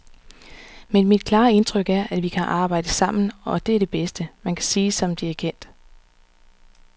Men mit klare indtryk er, at vi kan arbejde sammen, og det er det bedste, man kan sige som dirigent.